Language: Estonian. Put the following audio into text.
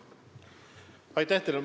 Aitäh teile!